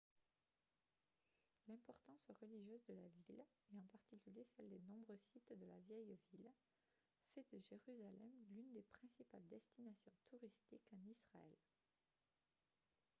l'importance religieuse de la ville et en particulier celle des nombreux sites de la vieille ville fait de jérusalem l'une des principales destinations touristiques en israël